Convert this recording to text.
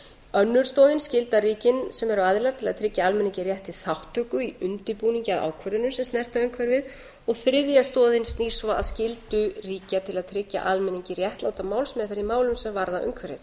önnur stoðin skyldar ríkin sem eru aðilar til að tryggja almenningi rétt til þátttöku í undirbúningi að ákvörðunum sem snerta umhverfið þriðja stoðin snýr svo að skyldu ríkja til að tryggja almenningi réttláta málsmeðferð í málum sem varða umhverfið